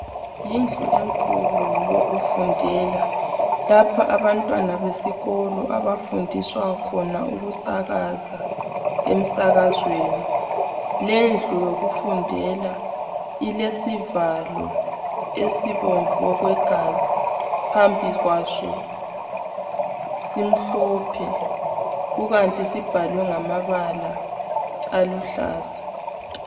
Yindlu enkulu yokufundela lapha abantwana besikolo abafundiswa khona ukusakaza emsakazweni , lendlu yokufundela ilesivalo esibomvu okwegazi phambi kwaso simhlophe kukanti sibhalwe ngamabala aluhlaza .